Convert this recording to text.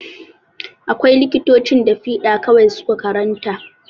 Akwai likitocin da fiɗa kawai su ka karanta.